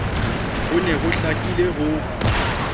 ho ne ho hlakile ho